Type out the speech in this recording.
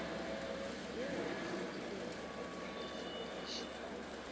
yeo e hlwekilego le tlhwekišo